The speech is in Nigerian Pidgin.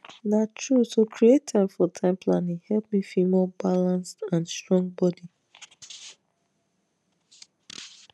na true to create time for time planning help me feel more balanced and strong body